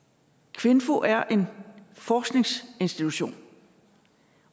kvinfo er en forskningsinstitution